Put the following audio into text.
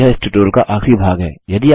यह इस ट्यूटोरियल का आखिरी भाग है